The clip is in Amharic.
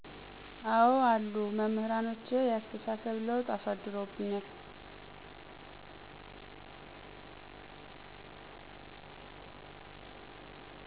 አዎ አሉ። መምህራኖቼ የአስተሳሰብ ለውጥ አሳድሮብኝል።